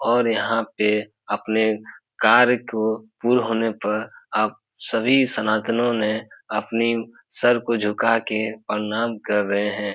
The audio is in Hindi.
और यहां पे अपने कार्य को पूर्ण होने पर आप सभी सनातनों ने अपनी सर को झुका के प्रणाम कर रहे है।